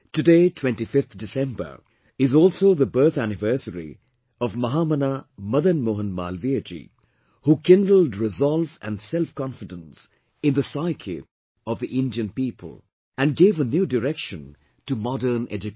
Today, 25th December, is also the birth anniversary of Mahamana Madan Mohan Malviyaji, who kindled resolve and self confidence in the psyche of the Indian people and gave a new direction to modern education